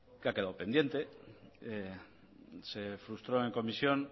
que ha quedado pendiente se frustró en comisión